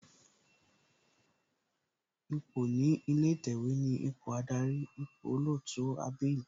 Ipò ní ilé ìtẹ̀wẹ̀ ni ipò Ádárì, ipò olootu abbl.